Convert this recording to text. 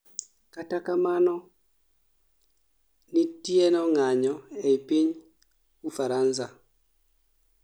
kata kamano nitieno ng'anyo ei piny Ufaransa